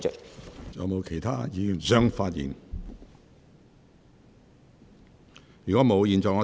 是否有其他議員想發言？